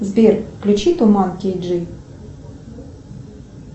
сбер включи туман кей джи